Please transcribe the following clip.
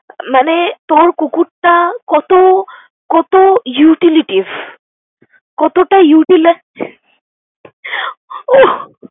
মানে তোর কুকুরটা কতো, কতো utilities কতোটা utilize ওহ